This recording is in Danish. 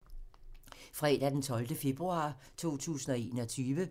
Fredag d. 12. februar 2021